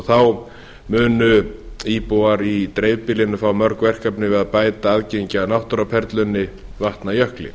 þá munu íbúar í dreifbýlinu fá mörg verkefni við að bæta aðgengi að náttúruperlunni vatnajökli